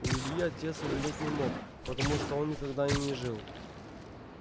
у ильи отец умереть не мог потому что он никогда и не жил